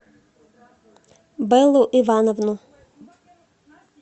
бэллу ивановну